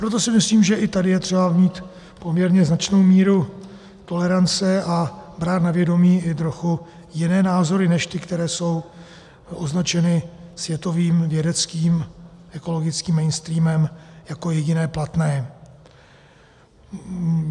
Proto si myslím, že i tady je třeba mít poměrně značnou míru tolerance a brát na vědomí i trochu jiné názory než ty, které jsou označeny světovým vědeckým ekologickým mainstreamem jako jediné platné.